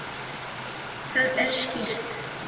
Það er skýrt.